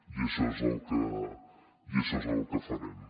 i això és el que i això és el que farem